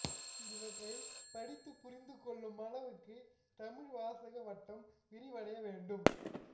இவற்றைப் படித்துப் புரிந்து கொள் ளும் அளவுக்கு தமிழ் வாசக வட்டம் விரிவடைய வேண்டும்